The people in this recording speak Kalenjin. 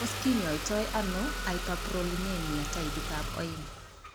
Tos kinyoitoono hyperprolinema taipit ab oeng'?